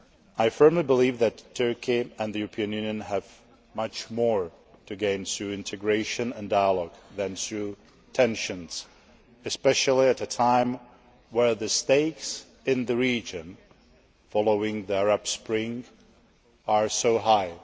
I firmly believe that Turkey and the European Union have much more to gain through integration and dialogue than through tensions, especially at a time where the stakes in the region following the Arab Spring are so high.